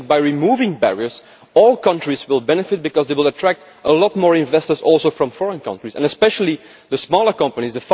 By removing barriers, all countries will benefit because they will attract a lot more investors including from foreign countries and especially the smaller companies.